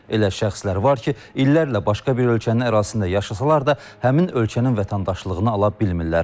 Elə şəxslər var ki, illərlə başqa bir ölkənin ərazisində yaşasalar da, həmin ölkənin vətəndaşlığını ala bilmirlər.